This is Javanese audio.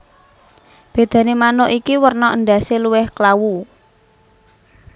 Bédané manuk iki werna endhasé luwih klawu